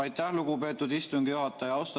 Aitäh, lugupeetud istungi juhataja!